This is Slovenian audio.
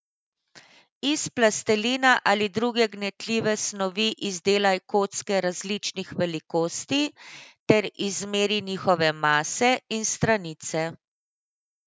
Iz plastelina ali druge gnetljive snovi izdelaj kocke različnih velikosti ter izmeri njihove mase in stranice.